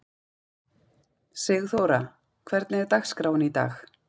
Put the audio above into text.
Sigþóra, hvernig er dagskráin í dag?